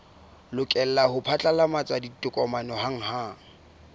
lokela ho phatlalatsa ditokomane hanghang